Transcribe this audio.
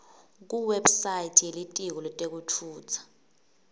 kuwebsite yelitiko letekutfutsa